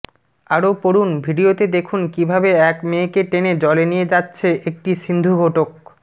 আরও পড়ুন ভিডিওতে দেখুন কীভাবে এক মেয়েকে টেনে জলে নিয়ে যাচ্ছে একটি সিন্ধুঘোটক